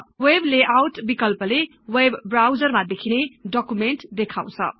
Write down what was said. web layout बिकल्पले web browser मा देखिने डकुमेन्ट देखाउँछ